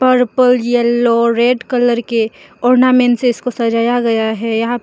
purple yellow red colour के ornament से इसको सजाया गया है यहां पे --